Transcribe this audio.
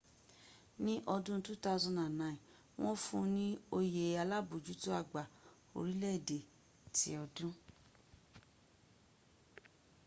ní ọdún 2009 wọ́n fún ní oyè alábójútó àgbà orílẹ̀ èdè ti ọdún